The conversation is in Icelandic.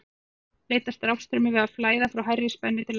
á sama hátt leitast rafstraumur við að flæða frá hærri spennu til lægri